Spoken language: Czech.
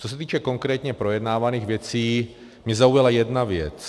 Co se týče konkrétně projednávaných věcí, mě zaujala jedna věc.